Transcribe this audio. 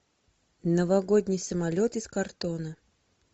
новогодний самолет из картона